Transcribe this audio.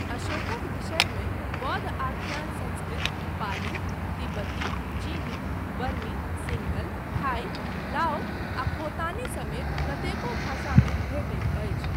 अशोकक विषयमे बौद्ध आख्यान संस्कृत, पाली, तिब्बती, चीनी, बर्मी, सिंहल, थाई, लाओ आ खोतानी समेत कतेको भाषामे भेटैत अछि।